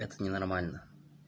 это не нормально